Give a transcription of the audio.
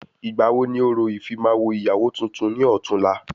Ìgbà wo ni orò ìfimawo ìyàwó tuntun ni ọ̀túla?